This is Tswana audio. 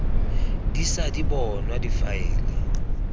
di ša di bonwa difaele